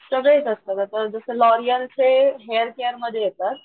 सगळे येत असतात जस लॉरिअल चे हेअर केर मध्ये येतात,